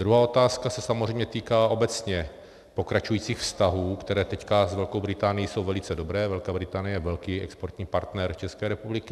Druhá otázka se samozřejmě týká obecně pokračujících vztahů, které teď s Velkou Británií jsou velice dobré, Velká Británie je velký exportní partner České republiky.